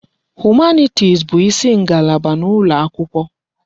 Humanitis bụ isi ngalaba n'ụlọ akwụkwọ.